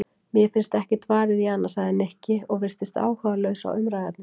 Mér finnst ekkert varið í hana sagði Nikki og virtist áhugalaus á umræðuefninu.